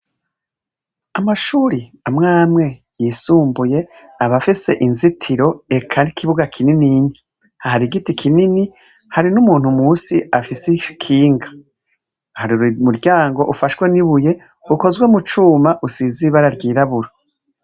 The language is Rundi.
Amashuri amw'amwe yisumbuye aba afise inzitiro, eka n'ikibuga kinininya. Hati igiti kinini, hari n'umuntu musi afise ikinga. Hari umuryango ufashwe n'ibuye ukozwe mu cuma usize ibara ryirabura.